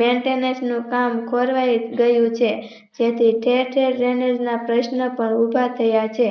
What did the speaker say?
maintenance નું કામ ખોરવાય ગયું છે તેથી ટેકે Drainage ના પ્રશ્ન પણ ઉભા થયા છે.